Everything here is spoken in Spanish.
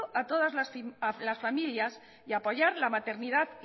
a todas las familias y apoyar la maternidad